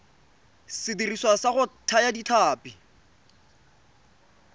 sediriswa sa go thaya ditlhapi